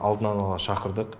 алдын ала шақырдық